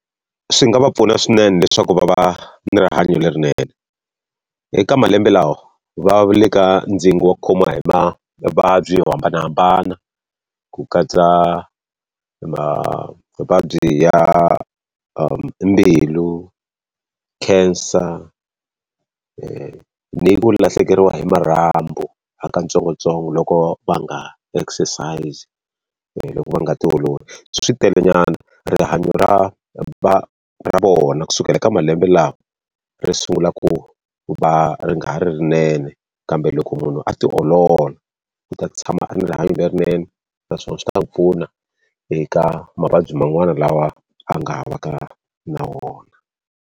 Swi nga va pfuna swinene leswaku va va na rihanyo lerinene. Eka malembe lawa, va le ka ndzingo wa ku khomiwa hi mavabyi yo hambanahambana ku katsa mavabyi ya mbilu, cancer, ni ku lahlekeriwa hi marhambu ha ka ntsongontsongo loko va nga exercise-i loko va nga tiololi. Switelenyana rihanyo ra ra ra vona kusukela ka malembe lawa, ri sungula ku va ri nga ha ri rinene, kambe loko munhu a ti olola u ta tshama a ri ni rihanyo lerinene. Naswona swi ta ku pfuna eka mavabyi ma n'wana lawa a nga ha va ka na wona.